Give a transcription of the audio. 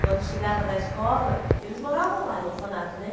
Quando chegava da escola, eles moravam lá no orfanato, né?